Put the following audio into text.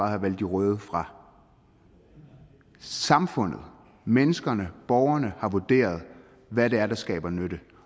har valgt de røde fra samfundet menneskene borgerne har vurderet hvad det er der skaber nytte